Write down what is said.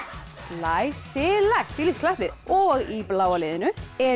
glæsilegt þvílíkt klapplið og í bláa liðinu eru